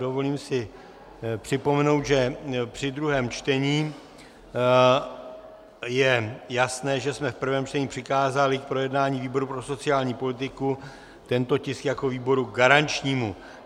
Dovolím si připomenout, že při druhém čtení... je jasné, že jsme v prvém čtení přikázali k projednání výboru pro sociální politiku tento tisk jako výboru garančnímu.